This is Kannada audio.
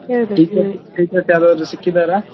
teachers teachers ಯಾರಾದ್ರೂ ಸಿಕ್ಕಿದರಾ?